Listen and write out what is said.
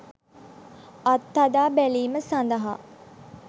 අත්හදා බැලීම සඳහා